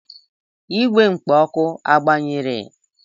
Igwe kpo oku agbanyere?